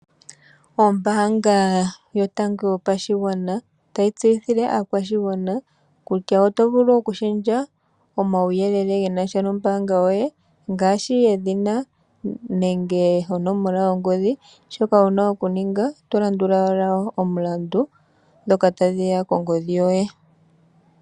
Ombaanga yotango yopashigwana otayi tseyithile aakwashigwana kutya oto vulu oku shendja omauyelele genasha nombaanga yoye, ngaashi edhina nenge onomola yongodhi, shoka wuna oku ninga oto landula ashike omilandu ndhoka tadhiya kongodhi yoye.